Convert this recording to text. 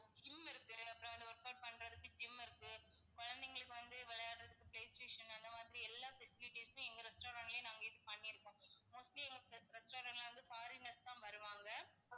gym இருக்கு அப்பறம் workout பண்றதுக்கு gym இருக்கு. குழந்தைங்களுக்கு வந்து விளையாடறதுக்கு play station அந்த மாதிரி எல்லா facilities மே எங்க restaurant லயே நாங்க இது பண்ணிருக்கோம் mostly எங்க restaurant ல வந்து foreigners தான் வருவாங்க.